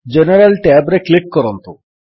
general tab ରେ click କରନ୍ତୁ